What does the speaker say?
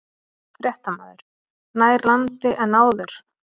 Fréttamaður: Nær landi en áður?